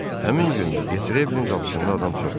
Həmin gün də Detrevlin qapısında adam çox idi.